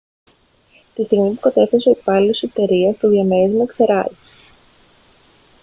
τη στιγμή που κατέφθασε ο υπάλληλος της εταιρείας το διαμέρισμα εξερράγη